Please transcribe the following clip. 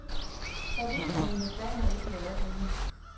Så vidt er mine planer ikke i øjeblikket.